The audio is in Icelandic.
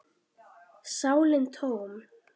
sálin tóm.